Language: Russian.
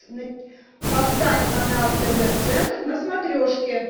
поставь канал тв центр на смотрешке